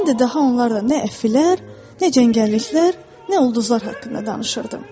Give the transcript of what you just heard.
Mən də daha onlarla nə əfflər, nə cəngəlliklər, nə ulduzlar haqqında danışırdım.